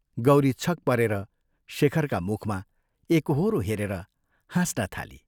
गौरी छक परेर शेखरका मुखमा एकोहोरो हेरेर हाँस्न थाली।